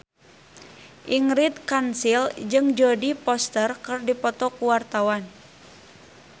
Ingrid Kansil jeung Jodie Foster keur dipoto ku wartawan